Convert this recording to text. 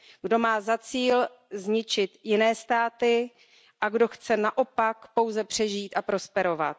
Kdo má za cíl zničit jiné státy a kdo chce naopak pouze přežít a prosperovat.